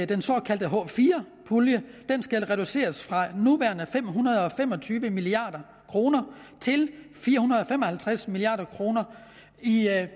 den såkaldte h4 pulje skal reduceres fra de nuværende fem hundrede og fem og tyve milliard kroner til fire hundrede og fem og halvtreds milliard kroner i